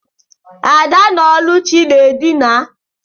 Ada na Oluchi na edina.